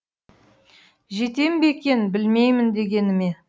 жетем бе екен білмеймін дегеніме